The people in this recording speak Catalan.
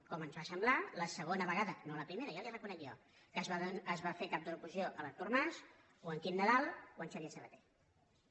com ens ho va semblar la segona vegada no la primera ja li ho reconec jo que es va fer cap de l’oposició l’artur mas o en quim nadal o en xavier sabaté